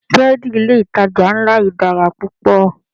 Búrẹ́dì ilé ìtajà ńlá yí dára púpọ̀.